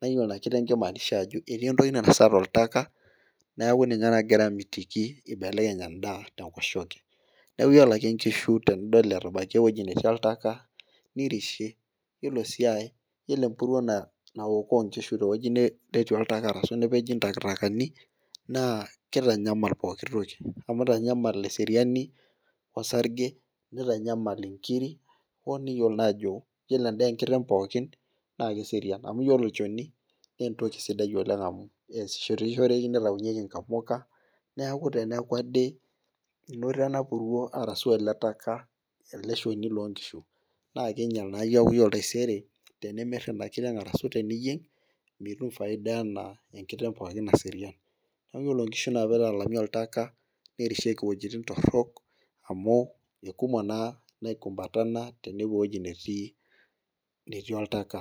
naa iyiolo inakiteng kimaanisha ajo etii entoki nainosa toltaka, neeku ninyd nagira amitiki. ibelekeny edaa te nkoshoke. neeku iyiolo ake, nkishu tenidol etabaikitia entoki netii oltaka. nirishie, iyiolo sii aae. iyiolo empuruo naokoo inkishu te wueji netii oltaka ashu te wueji nepeji ntakitakani, naa kitanyamal eseriani, osarge, nitanyamal inkiri, hoo niyiolou naa ajo iyiolo edaa enkiteng' pookin naa keserian amu iyiolo olchoni. naa entoki sidai oleng amu keesishoreki, nitayu yeki nkamuka. neeku te neeku ade enoto ena puruo arashu ele taka ele shoni loo nkishu naa kingiel naa keeku iyiolo taisere tenimir Ina kiteng' arashu teniyieng' mitum faida anaa enkiteng' pookin naserian. kake iyiolo nkishu anaa pee italami oltaka .ninosieki iweujitin torok, amu ikumok naa Niko metalaa tenepuoi ewueji netii oltaka